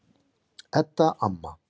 Edda amma.